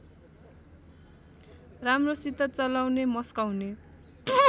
राम्रोसित चलाउने मस्काउने